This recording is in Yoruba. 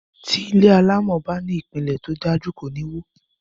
Ti ilé alámò bá ní ìpiǹlè tódájú, kò níwó